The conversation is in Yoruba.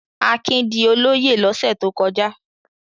Akin di olóyè lọ́sẹ̀ tó kọjá.